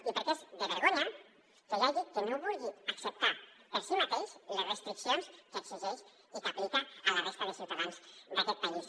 i perquè és de vergonya que hi hagi qui no vulgui acceptar per si mateix les restriccions que exigeix i que aplica a la resta de ciutadans d’aquest país